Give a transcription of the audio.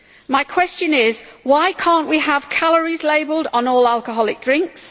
My question is, why can we not have calories labelled on all alcoholic drinks?